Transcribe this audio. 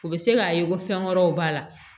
O bɛ se k'a ye ko fɛn wɛrɛw b'a la